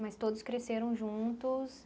Mas todos cresceram juntos?